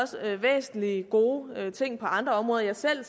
væsentlige gode ting på andre områder jeg ser